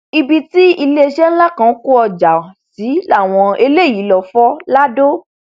ibi tí iléeṣẹ ńlá kan kó ọjà sí làwọn eléyìí lóò fọ lado